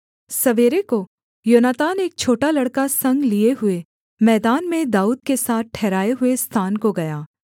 सवेरे को योनातान एक छोटा लड़का संग लिए हुए मैदान में दाऊद के साथ ठहराए हुए स्थान को गया